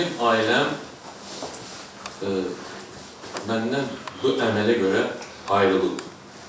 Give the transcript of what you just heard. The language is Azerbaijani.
Mənim ailəm, məndən bu əmələ görə ayrıldı.